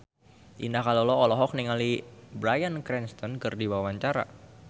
Indah Kalalo olohok ningali Bryan Cranston keur diwawancara